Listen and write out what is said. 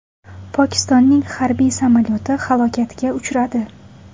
Pokistonning harbiy samolyoti halokatga uchradi .